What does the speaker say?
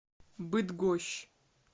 быдгощ